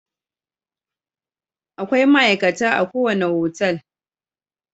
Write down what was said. Akwai ma'aikata a ko wani otal.